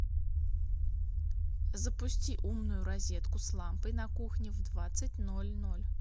запусти умную розетку с лампой на кухне в двадцать ноль ноль